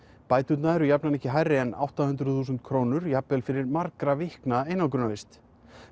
bæturnar eru jafnan ekki hærri en átta hundruð þúsund krónur jafnvel fyrir margra vikna einangrunarvist